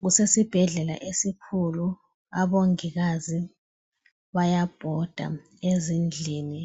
Kusesibhedlela esikhulu abongikazi bayabhoda ezindlini